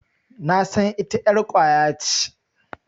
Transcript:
Nasan ita ƴar ƙwaya ce.